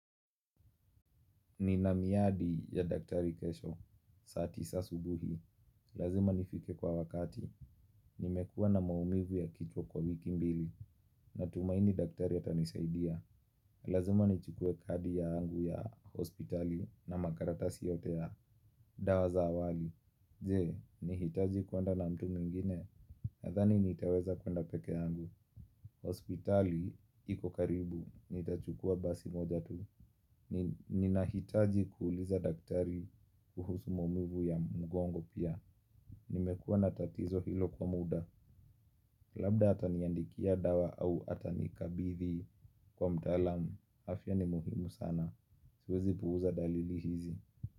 Nina miadi ya daktari kesho, saa tisa asubuhi, lazima nifike kwa wakati, nimekua na maumivu ya kichwa kwa wiki mbili, natumaini daktari atanisaidia. Lazima nichukue kadi yaangu ya hospitali na makaratasi yote ya dawa za awali, je, nihitaji kwenda na mtu mwingine, nadhani nitaweza kwenda peke yangu. Hospitali, iko karibu, nitachukua basi moja tu. Ninahitaji kuuliza daktari kuhusu maumivu ya mgongo pia. Nimekuwa na tatizo hilo kwa muda. Labda ataniandikia dawa au atanikabithi kwa mtaalam. Afya ni muhimu sana. Siwezi puuza dalili hizi.